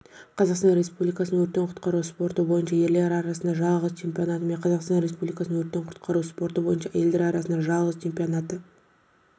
қазақстан республикасының өрттен құтқару спорты бойынша ерлер арасындағы жазғы чемпионаты мен қазақстан республикасының өрттен құтқару спорты бойынша әйелдер арасындағы жазғы чемпионаты